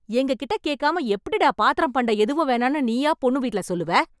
எங்ககிட்ட கேக்காம எப்படிடா பாத்திரம் பண்டம் எதுவும் வேணாம்னு நீயா பொண்ணு வீட்ல சொல்லுவ?